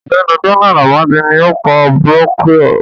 Ọ̀gbẹ́ni Donald Amadi ní ó kọ brónkíò